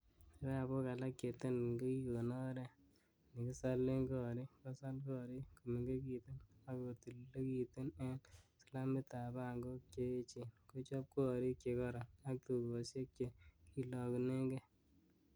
Kibabok alak che tenten kokikon oret nekisolen korik, kosal gorik komengekitun ak kotililekitun en slamitab Bankok che echen, kochob gorik che koroon ak tugosiek che kilongunen gee.